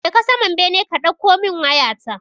Je ka saman bene ka ɗauko min waya ta.